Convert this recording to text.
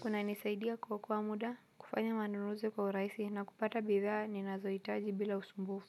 kunanisaidia kuokoa muda, kufanya manunuzi kwa urahisi na kupata bidhaa, ninazohitaji bila usumbufu.